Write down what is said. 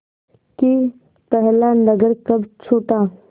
कि पहला नगर कब छूटा